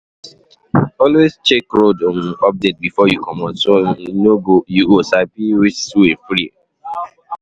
Always check road update before you comot, so you go sabi which way free.